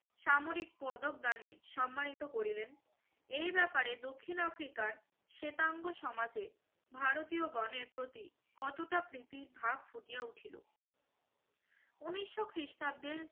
সামরিক পদক দানে সম্মানিত করিলেন। এ ব্যাপারে দক্ষিণ আফ্রিকার শেতাঙ্গ সমাজে ভারতীয়গণের প্রতি কতকটা প্রীতি ভাব ফুটিয়ে উঠিল। ঊনিশো খ্রিস্টাব্দের